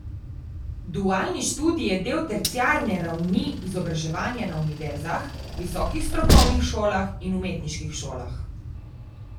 Dualni študij je del terciarne ravni izobraževanja na univerzah, visokih strokovnih šolah in umetniških šolah.